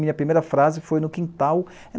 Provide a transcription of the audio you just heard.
Minha primeira frase foi no quintal.